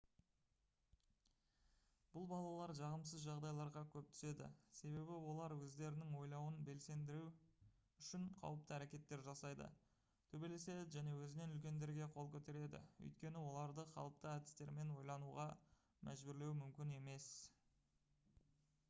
бұл балалар жағымсыз жағдайларға көп түседі себебі олар өздерінің ойлауын белсендіру үшін қауіпті әрекеттер жасайды төбелеседі және өзінен үлкендерге қол көтереді өйткені оларды қалыпты әдістермен ойлануға мәжбүрлеу мүмкін емес